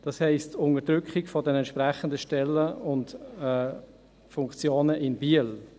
Das heisst, Unterdrückung der entsprechenden Stellen und Funktionen in Biel.